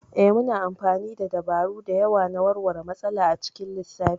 Ee, muna amfani da dabaru da yawa na warware matsala a cikin lissafi.